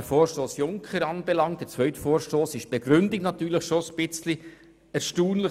Beim Vorstoss Junker ist die Begründung auf Seite 2 unten etwas erstaunlich.